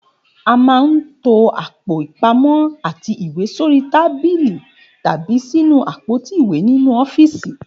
A máa ń to àpò ìpamó̩ àti ìwé sórí tábílì tàbí sínú àpótí ìwé nínú ó̩fíìsì